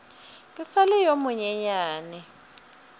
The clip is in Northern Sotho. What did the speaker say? ke sa le yo monyenyane